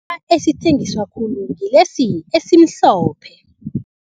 esithengiswa khulu ngilesi esimhlophe.